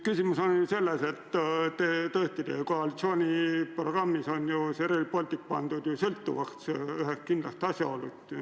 Küsimus on selles, et tõesti koalitsiooniprogrammis on Rail Baltic sõltuvaks pandud ühest kindlast asjaolust.